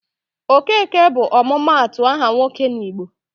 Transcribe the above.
Okeke bụ ọmụmaatụ aha nwoke n'Igbo.